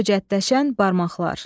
Höcətləşən barmaqlar.